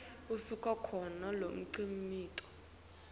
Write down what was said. usuka khona lomkhicito